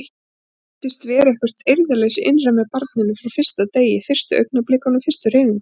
Það virtist vera eitthvert eirðarleysi innra með barninu frá fyrsta degi, fyrstu augnablikunum, fyrstu hreyfingunum.